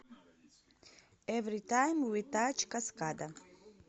эвритайм ви тач каскада